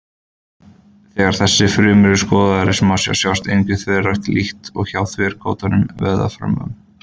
Þegar þessar frumur eru skoðaðar í smásjá sjást engar þverrákir líkt og hjá þverrákóttum vöðvafrumum.